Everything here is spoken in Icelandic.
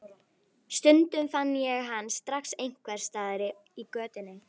Stundum fann ég hann strax einhvers staðar í götunni.